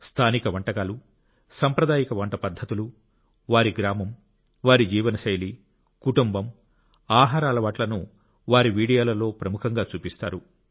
స్థానిక వంటకాలు సాంప్రదాయిక వంట పద్ధతులు వారి గ్రామం వారి జీవనశైలి కుటుంబం ఆహార అలవాట్లను వారి వీడియోలలో ప్రముఖంగా చూపిస్తారు